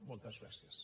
moltes gràcies